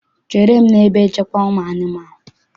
Chere m n'ebe nchekwa ụmụanụmaụ!